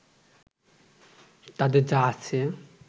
তাদের যা আছে